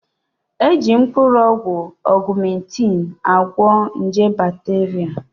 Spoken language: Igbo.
Eji mkpụrụ ọgwụ ọgụmentịn agwọ nje bakteria